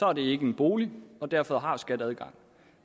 er det ikke en bolig og derfor har skat adgang